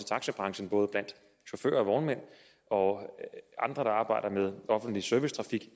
taxabranchen både blandt chauffører og vognmænd og andre der arbejder med offentlig servicetrafik